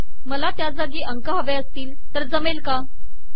मला त्या जागी अंक हवे असतील तर ते जमेल काय160